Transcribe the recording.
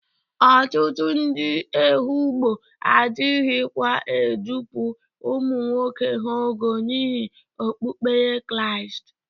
Ọtụtụ ndị Ehụgbọ adịghịkwa edupu ụmụ nwoke ha ogo n'ihi okpukpere Kraịst.